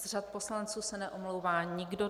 Z řad poslanců se neomlouvá nikdo.